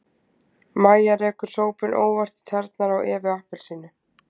Mæja rekur sópinn óvart í tærnar á Evu appelsínu.